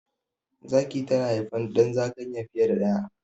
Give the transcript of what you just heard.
Zaki tana haifan ɗan zakanya fiye da daya